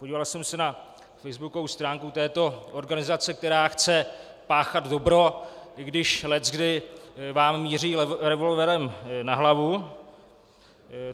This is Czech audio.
Podíval jsem se na facebookovou stránku této organizace, která chce páchat dobro, i když leckdy vám míří revolverem na hlavu.